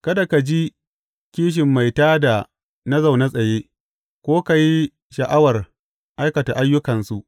Kada ka ji kishin mai tā da na zaune tsaye ko ka yi sha’awar aikata ayyukansu.